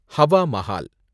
Hawa Mahal